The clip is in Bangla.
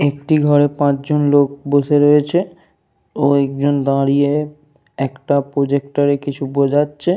একটি ঘরে পাঁচজন লোক বসে রয়েছে। ও একজন দাঁড়িয়ে একটা প্রজেক্টর এ কিছু বোঝাচ্ছে।